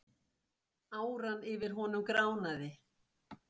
Áran yfir honum gránaði.